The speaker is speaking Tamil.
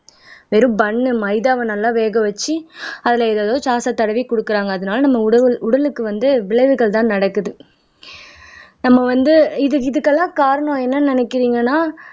வெறும் பன்னு மைதாவை நல்லா வேக வச்சு அதுல ஏதேதோ சாஸ தடவி கொடுக்குறாங்க அதனால நம்ம உடவுள் உடலுக்கு வந்து விளைவுகள்தான் நடக்குது நம்ம வந்து இது இதுக்கெல்லாம் காரணம் என்னன்னு நினைக்கிறீங்கன்னா